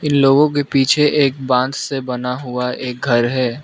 इन लोगों के पीछे एक बांध से बना हुआ एक घर है।